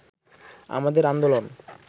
আমাদের আন্দোলন